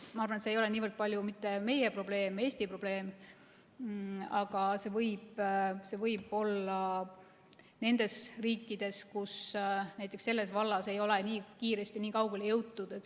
Ma arvan, et see ei ole niivõrd palju mitte meie probleem, Eesti probleem, vaid seda võib olla nendes riikides, kus näiteks selles vallas ei ole nii kiiresti nii kaugele jõutud.